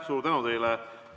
Suur tänu teile!